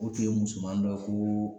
O tun ye musomani dɔ ye koo